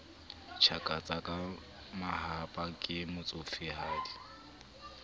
tjhakatsa ka mahahapa ke motsofehadi